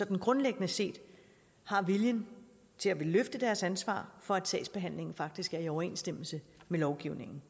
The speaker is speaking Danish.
grundlæggende set har viljen til at ville løfte deres ansvar for at sagsbehandlingen faktisk er i overensstemmelse med lovgivningen